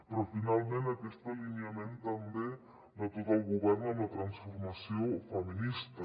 però finalment aquest alineament també de tot el govern en la transformació feminista